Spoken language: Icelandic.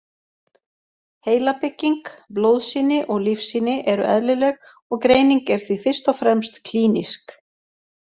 Heilabygging, blóðsýni og lífsýni eru eðlileg og greining er því fyrst og fremst klínísk.